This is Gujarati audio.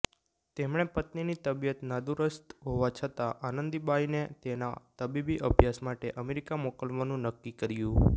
તેમણે પત્નીની તબિયત નાદુરસ્ત હોવા છતાં આનંદીબાઈને તેના તબીબી અભ્યાસ માટે અમેરિકા મોકલવાનું નક્કી કર્યું